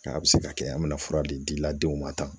Nka a bɛ se ka kɛ an bɛna fura di la denw ma tan